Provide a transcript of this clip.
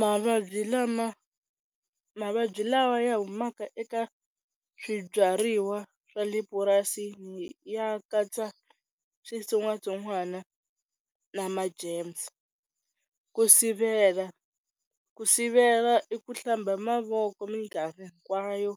Mavabyi lama mavabyi lawa ya humaka eka swibyariwa swa le purasini ya katsa switsongwatsongwana na ma germs, ku sivela ku sivela i ku hlamba mavoko minkarhi hinkwayo,